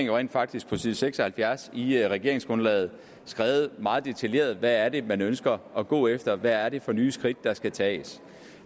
jo rent faktisk på side seks og halvfjerds i regeringsgrundlaget har skrevet meget detaljeret hvad det er man ønsker at gå efter hvad det er for nye skridt der skal tages